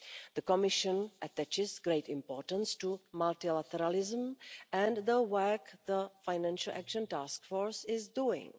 The Commission attaches great importance to multilateralism and the work the Financial Action Task Force is doing.